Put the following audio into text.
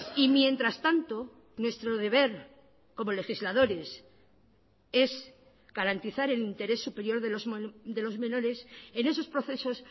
y mientras tanto nuestro deber como legisladores es garantizar el interés superior de los menores en esos procesos